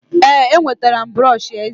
ee, enwetara m brọsh eze